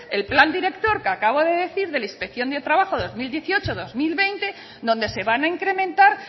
el plan director que acabo de decir de la inspección de trabajo dos mil dieciocho dos mil veinte donde ser van a incrementar